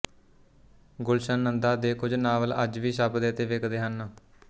ਗੁਲਸ਼ਨ ਨੰਦਾ ਦੇ ਕੁਝ ਨਾਵਲ ਅੱਜ ਵੀ ਛਪਦੇ ਅਤੇ ਵਿਕਦੇ ਹਨ